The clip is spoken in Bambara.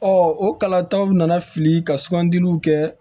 o kalataw nana fili ka sugandiliw kɛ